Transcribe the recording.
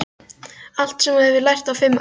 Allt sem þú hefur lært á fimm árum.